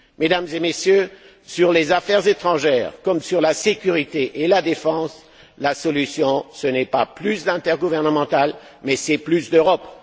Mesdames et Messieurs, sur les affaires étrangères comme sur la sécurité et la défense, la solution, ce n'est pas plus d'intergouvernemental, mais c'est plus d'Europe.